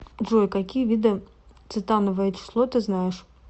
джой какие виды цетановое число ты знаешь